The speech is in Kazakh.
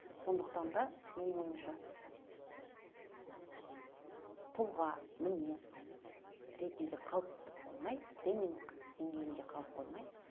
сондықтан да менің ойымша тұлға мінез ретінде қалып қоймай тренинг денгейінде қалып қоймай